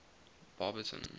barberton